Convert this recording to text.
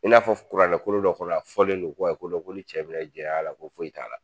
I n'a fɔ kuranɛkolon dɔ kɔnɔ, a fɔlen don ko ko ni cɛ minɛ jɛnɛya la ko foyi t'a la